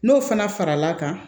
N'o fana fara l'a kan